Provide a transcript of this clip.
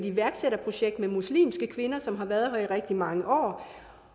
iværksætterprojekt med muslimske kvinder som har været her i rigtig mange år